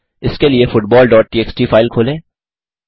इसके लिए football dot TXT file खोलें